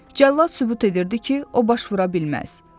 Cəllad sübut edirdi ki, o baş vura bilməz.